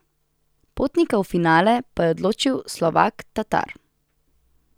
Potnika v finale pa je odločil Slovak Tatar.